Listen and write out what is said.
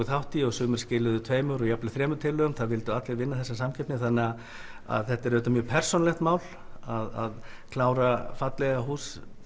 þátt í sumir skiluðu tveimur eða þremur tillögum það vildu allir vinna þessa samkeppni þetta er mjög persónulegt mál að klára hús